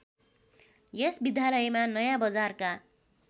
यस विद्यालयमा नयाँबजारका